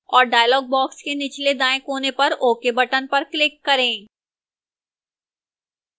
और dialog box के निचले दाएं कोने पर ok button पर click करें